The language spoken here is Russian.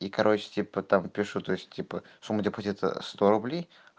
и короче типа там пишут то есть типа сумму депозита сто рублей